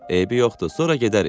Eybi yoxdur, sonra gedərik.